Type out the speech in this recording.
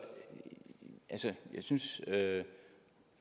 synes